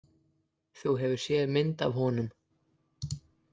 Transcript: Þú hefur séð mynd af honum?